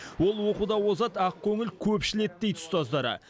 ол оқуда озат ақкөңіл көпшіл еді дейді ұстаздары